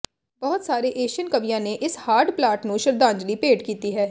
ਬਹੁਤ ਸਾਰੇ ਏਸ਼ੀਅਨ ਕਵੀਆਂ ਨੇ ਇਸ ਹਾਰਡ ਪਲਾਟ ਨੂੰ ਸ਼ਰਧਾਂਜਲੀ ਭੇਂਟ ਕੀਤੀ ਹੈ